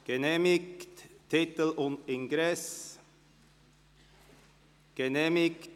Angenommen Titel und Ingress Angenommen